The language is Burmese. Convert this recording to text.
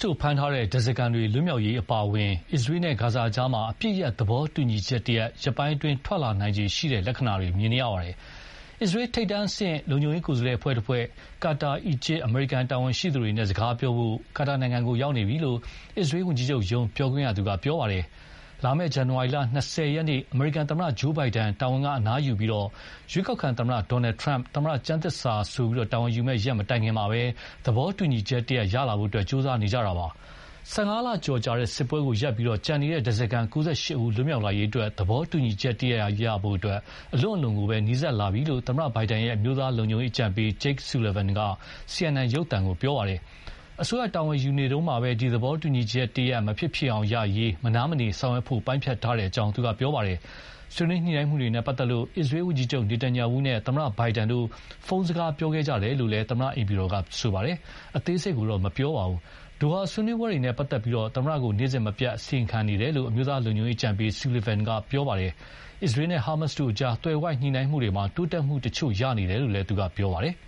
တို့ဖမ်းထားတဲ့ ဓါးစားခံတွေလွတ်မြောက်ရေးအပါအဝင် အစ္စရေးနဲ့ ဂါဇာအကြား အပစ်ရပ်သဘောတူညီချက်တရပ် ရက်ပိုင်းအတွင်း ထွက်လာနိုင်ခြေရှိတဲ့ လက္ခဏာတွေ မြင်နေရပါတယ်။ အစ္စရေး ထိပ်တန်းအဆင့် လုံခြုံရေးကိုယ်စားလှယ်အဖွဲ့တဖွဲ့ဟာ ကာတာ၊အီဂျစ်၊ အမေရိကန် တာဝန်ရှိသူတွေနဲ့ စကားပြောဖို့ ကာတာနိုင်ငံကို ရောက်ရှိနေပြီလို့ အစ္စရေးဝန်ကြီးချုပ်ရုံး ပြောခွင့်ရသူက ပြောပါတယ်။ လာမယ့် ဇန်နဝါရီ ၂၀ ရက်နေ့ အမေရိကန်သမ္မတ Joe Biden တာဝန်က အနားယူပြီး၊ ရွေးကောက်ခံသမ္မတ Donald Trump သမ္မတ ကျမ်းသစ္စာဆို တာဝန်ယူမယ့်ရက်မတိုင်ခင်မှာပဲ၊ သဘောတူညီချက်တရပ်ရလာဖို့ ကြိုးစားနေကြတာပါ။ ၁၅လကျော်ကြာ စစ်ပွဲကို ရပ်ပြီး ကျန်နေတဲ့ ဓါးစာခံ ၉၈ ဦး လွတ်မြောက်လာရေးအတွက် သဘောတူညီချက်တရပ်ရဖို့ အလွန့် အလွန်ကို နီးစပ်လာပြီလို့ သမ္မတဘိုင်ဒန်ရဲ့ အမျိုးသားလုံခြုံရေးအကြံပေး Jake Sullivan က CNN ရုပ်သံကို ပြောပါတယ်။ အစိုးရတာဝန်ယူနေတုန်းမှာ ဒီသဘောတူညီချက်မဖြစ်ဖြစ်အောင်ရရေး မနားမနေဆောင်ရွက်ဖို့ ပိုင်းဖြတ်ထားတယ်လို့ သူက ပြောပါတယ်။ ဆွေးနွေးညှိုနှိုင်းမှုတွေနဲ့ပတ်သက်လို့ အစ္စရေးဝန်ကြီးချုပ်နေတန်ညာဝူးနဲ့ သမ္မတ ဘိုင်ဒန်တို့ ဖုန်းနဲ့စကားပြောခဲ့ကြတယ်လို့ သမ္မတအိမ်ဖြူတော်က ပြောပါတယ်။ အသေးစိတ်ကိုတော့ မပြောပါဘူး။ ဒိုဟာဆွေးနွေးပွဲတွေနဲ့ပတ်သက်လို့ သမ္မတကို နေ့စဉ်မပြတ် အစီရင်ခံနေတယ်လို့ အမျိုးသားလုံခြုံရေးအကြံပေး Sullivan က ပြောပါတယ်။ အစ္စရေး နဲ့ ဟာမတ်တို့အကြား သွယ်ဝိုက်ညှိုနှိုင်းမှုတွေမှာ တိုးတက်မှုတချို့ရတယ်လို့လည်း ပြောပါတယ်။